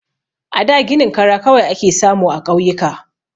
A da ginin kara kawai ake samu a ƙauyuka.